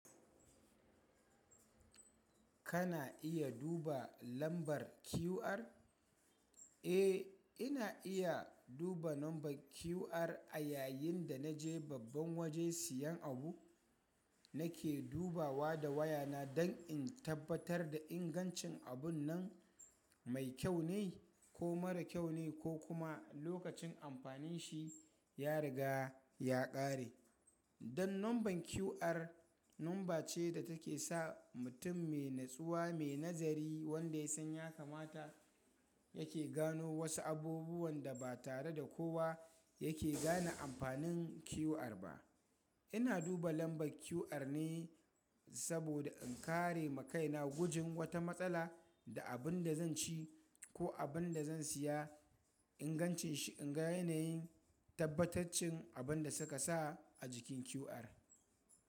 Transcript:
Kana iya duba lambar QR? Eh, ina iya duba lambar QR a yayin da naje babban waje siyan abu. Nake dubawa da wayana don in tabbatar da ingancin abun nan mai kyau ne ko mara kyau ne ko kuma lokacin amfanin shi ya riga ya ƙare. Don lambar QR, lamba ce da take sa mutum mai natsuwa mai nazari wanda ya san ya kamata yake gano wasu abubuwan da ba tare da kowa yake gane amfanin QR ba. Ina duba lambar QR ne saboda in kare makaina gujin wata matsala da abin da zan ci ko abun da zan siya ingancin shi in ga yanayin tabbataccen abin da suka sa a jikin QR.